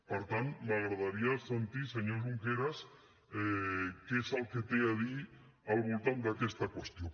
per tant m’agradaria sentir senyor junqueras què és el que té a dir al voltant d’aquesta qüestió